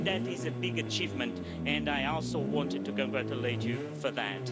That is a big achievement, and I also wanted to congratulate you for that.